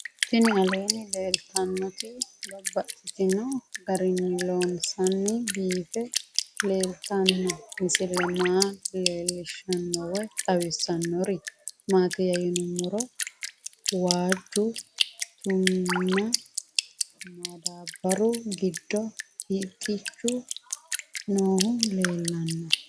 Tinni aleenni leelittannotti babaxxittinno garinni loonseenna biiffe leelittanno misile maa leelishshanno woy xawisannori maattiya yinummoro waajju tuminna madaabaru giddo hixxichu noohu leelanno